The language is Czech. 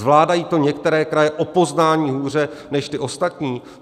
Zvládají to některé kraje o poznání hůře než ty ostatní?